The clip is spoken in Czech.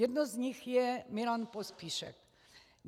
Jedno z nich je Milan Pospíšek.